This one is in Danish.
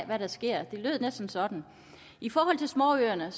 hvad der sker det lød næsten sådan i forhold til småøerne